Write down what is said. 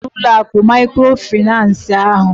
Gaa chere m n'ụlọ akụ maịkrofaịnans ahụ!